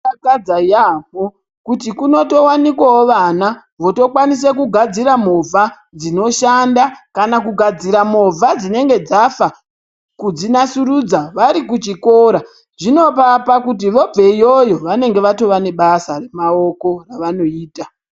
Zvinodakadza yaamho kuti kunotowanikwawo vana votokwanisa kugadzira movha dzinoshanda kana kugadzira movha dzinenge dzafa kudzinasurudza vari kuchikora zvinovapa kuti vobve iyoyo vanenge vatova nebasa remaoko ravanoita .